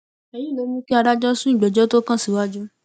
èyí ló mú kí adájọ sún ìgbẹjọ tó kàn síwájú